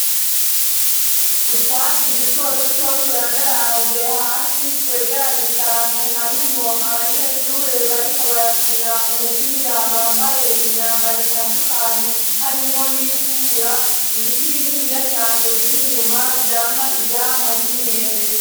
Utwatsi duto duto turandaranze hasi twegeranye cane harimwo abanyeshure bariko barakina umupira bambaye imyamba ritandukanye harimwo n'itukura ibiti bininiya cane biri inyuma vyamwa ivyamwa vy'inyembe.